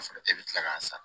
Sɔrɔ e bɛ tila k'a san